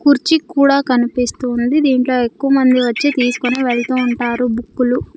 కుర్చి కూడా కనిపిస్తూ ఉంది దీంట్లో ఎక్కువ మంది వచ్చి తీసుకొని వెళ్తూ ఉంటారు బుక్కులు .